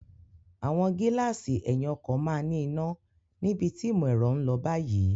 Àwọn gíláàsì ẹ̀yìn ọkọ̀ máa ní iná níbi tí ìmò ẹ̀rọ ń lọ báyìí.